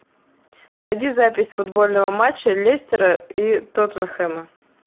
найди запись футбольного матча лестера и тоттенхэма